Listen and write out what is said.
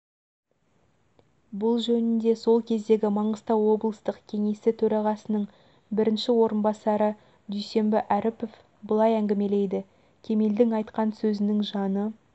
бұл жөнінде сол кездегі маңғыстау облыстық кеңесі төрағасының бірінші орынбасары дүйсенбі әріпов былай әңгімелейді кемелдің айтқан сөзінің жаны